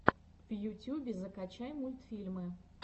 в ютюбе закачай мультфильмы